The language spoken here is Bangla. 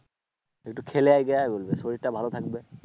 একটু খেলে আয় যা বলবে শরীরটা ভালো থাকবে